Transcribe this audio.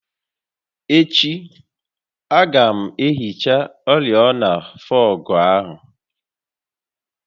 Echi, a ga m ehicha oriọna fọọgụ áhụ